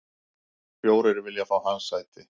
Fjórir vilja fá hans sæti.